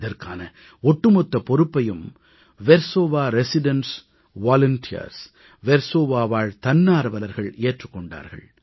இதற்கான ஒட்டுமொத்த பொறுப்பையும் வெர்சோவா குடியிருப்பு தன்னார்வலர்கள் ஏற்றுக் கொண்டார்கள்